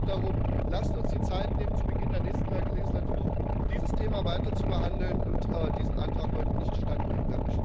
Ich bitte deshalb darum Lasst uns die Zeit nehmen, zu Beginn der nächsten Wahlperiode dieses Thema weiter zu behandeln, und diesem Antrag heute nicht stattgeben!